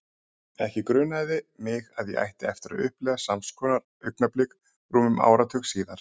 Ekki grunaði mig að ég ætti eftir að upplifa sams konar augnablik rúmum áratug síðar.